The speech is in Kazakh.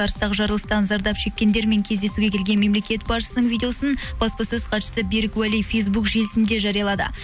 арыстағы жарылыстан зардап шеккендермен кездесуге келген мемлекет басшысының видеосын баспасөз хатшысы берік уәлиев фейсбук желісінде жариялады